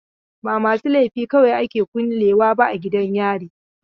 Ba masu laifi kawai ake kulle wa a gidan yari ba.